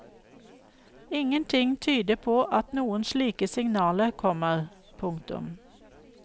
Ingen ting tyder på at noen slike signaler kommer. punktum